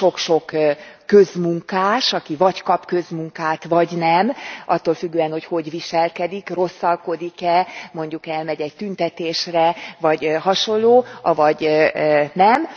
a sok sok közmunkás, aki vagy kap közmunkát, vagy nem. Attól függően, hogy hogy viselkedik, rosszalkodik e, mondjuk elmegy e egy tüntetésre vagy hasonló, avagy nem.